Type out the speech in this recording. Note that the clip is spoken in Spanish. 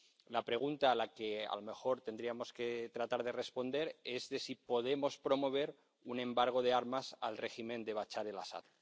La pregunta a la que a lo mejor tendríamos que tratar de responder es si podemos promover un embargo de armas al régimen de Bashar al Asad.